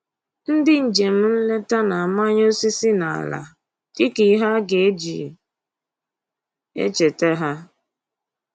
Ndị njem nleta na-amanye osisi n'ala dịka ihe a ga-eji echeta ha